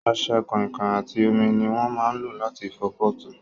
Ọṣẹ, kọ̀ìnkọ̀ìn àti omi ni wón máa ń lò láti fọ pọ́ọ̀tù